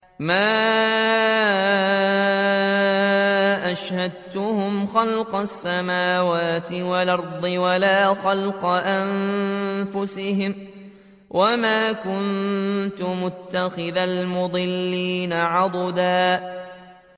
۞ مَّا أَشْهَدتُّهُمْ خَلْقَ السَّمَاوَاتِ وَالْأَرْضِ وَلَا خَلْقَ أَنفُسِهِمْ وَمَا كُنتُ مُتَّخِذَ الْمُضِلِّينَ عَضُدًا